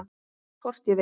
Hvort ég vil!